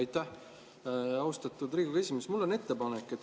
Aitäh, austatud Riigikogu esimees!